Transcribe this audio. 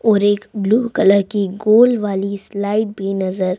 और एक blue colour की गोल वाली स्लाइड भी नजर--